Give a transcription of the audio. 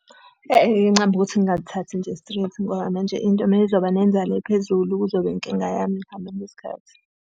ukuthi ngingalithathi nje straight ngoba manje into uma izoba nenzalo ephezulu kuzoba yinkinga yami ekuhambeni kwesikhathi.